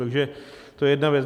Takže to je jedna věc.